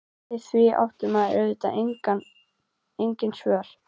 Við því átti maður auðvitað engin svör.